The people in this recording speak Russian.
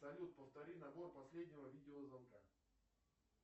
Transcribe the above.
салют повтори набор последнего видеозвонка